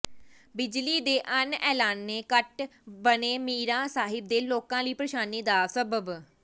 ਬਿਜਲੀ ਦੇ ਅਣਐਲਾਨੇ ਕੱਟ ਬਣੇ ਮੀਰਾਂ ਸਾਹਿਬ ਦੇ ਲੋਕਾਂ ਲਈ ਪ੍ਰੇਸ਼ਾਨੀ ਦਾ ਸਬੱਬ